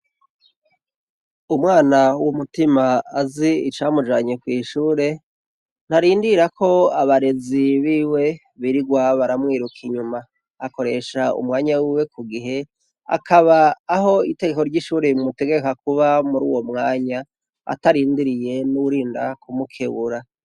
Umwana w' umutima azi icamujanye kwishure, ntarindira ko abarezi biwe birigwa baramwiruka inyuma, akoresha kumwanya wiwe kugihe, akuri uwo mwanya ararindiriye uwurinda kumukebura.